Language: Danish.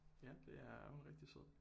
Ja det er hun er rigtig sød